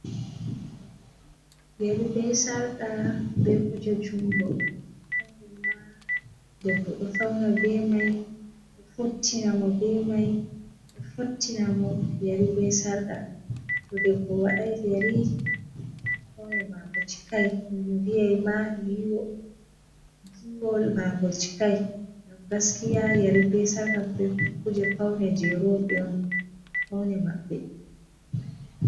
Yeri be sarqa be kuje jungo, deɓbo ɗo fauna be mai fottina mo be mai ɗo fottinamo, yeri be sarqa to deɓbo wadai yeri faune mako cikai vi'ai ma yiwol mako cikai, ngam gaskiya yeri be sarqa be kuje paune je roɓe on paune maɓɓe.